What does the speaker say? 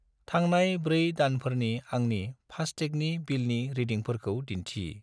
थांनाय 4 दानफोरनि आंनि फास्टेगनि बिलनि रिदिंफोरखौ दिन्थि।